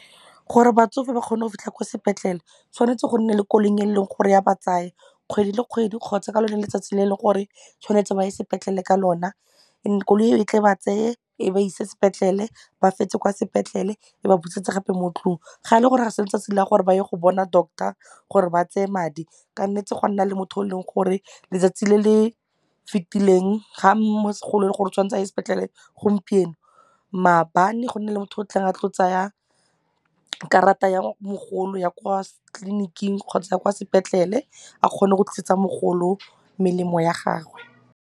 Gore batsofe ba kgone go fitlha kwa sepetlele tshwanetse go nne le koloi e leng gore ya ba tsaya kgwedi le kgwedi kgotsa ka lone letsatsi le leng gore tshwanetse ba ye sepetlele ka lona and-e koloi e tle e ba tseye ko ba ise sepetlele ba fetse kwa sepetlele e ba busetse gape mo tlung. Ga ele gore ga se letsatsi la gore ba ye go bona doctor gore ba tseye madi kannetse gwa nna le motho o leng gore letsatsi le le fetileng ga gore tshwanetse a ye sepetlele gompieno maabane go nne le motho o tlo tsaya karata ya mogolo ya kwa tliliniking kgotsa kwa sepetlele a kgone go tlisetsa mogolo melemo ya gagwe.